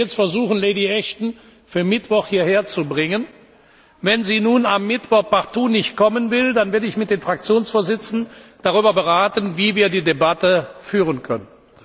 Ich werde jetzt versuchen, Lady Ashton für Mittwoch hierher zu bringen. Wenn Sie nun am Mittwoch partout nicht kommen will, dann werde ich mit den Fraktionsvorsitzenden darüber beraten, wie wir die Debatte führen können.